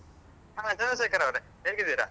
ಹ ಚಂದ್ರಶೇಖರ್ ಅವರೆ ಹೇಗಿದ್ದೀರ?